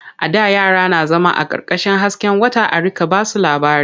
A da yara na zama ƙarƙashin hasken wata a riƙa ba su labari.